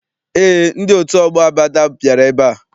Eé, ndị otu ọgbọ Abada bịara ebea.